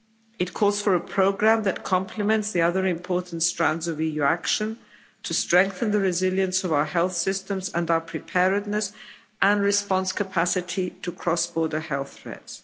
It calls for a programme that complements the other important strands of EU action to strengthen the resilience of our health systems and our preparedness and response capacity to cross border health threats.